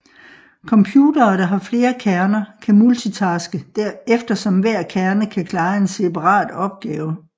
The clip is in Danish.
Computere der har flere kerner kan multitaske eftersom hver kerne kan klare en separat opgave